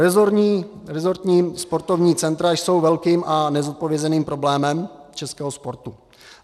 Resortní sportovní centra jsou velkým a nezodpovězeným problémem českého sportu.